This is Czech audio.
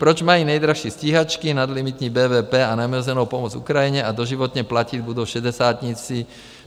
Proč mají nejdražší stíhačky nadlimitní BVP a neomezenou pomoc Ukrajině a doživotně platit budou šedesátníci?